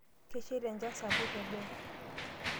Kesheita enchan sapuk teboo.